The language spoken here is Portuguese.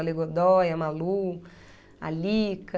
A Lê Godói, a Malu, a Lika...